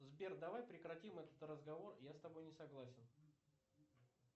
сбер давай прекратим этот разговор я с тобой не согласен